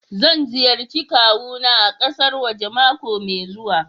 Zan ziyarci kawuna a kasar waje mako mai zuwa.